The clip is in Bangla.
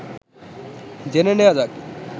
জেনে নেয়া যাক